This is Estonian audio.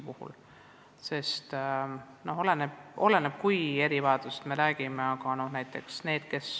Palju oleneb konkreetsest erivajadusest.